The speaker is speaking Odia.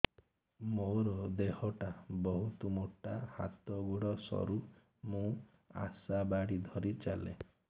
ମୋର ଦେହ ଟା ବହୁତ ମୋଟା ହାତ ଗୋଡ଼ ସରୁ ମୁ ଆଶା ବାଡ଼ି ଧରି ଚାଲେ